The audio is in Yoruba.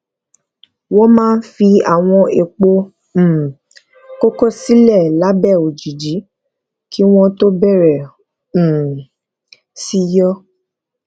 wón máa fi àwọn èèpo um koko sílè lábé òjìji kí wón tó bèrè um sí yó